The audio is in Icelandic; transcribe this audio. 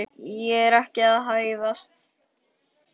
Ég er ekki að hæðast.